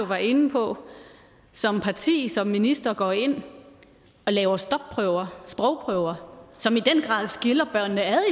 var inde på som parti som minister går ind og laver stopprøver sprogprøver som i den grad skiller børnene ad i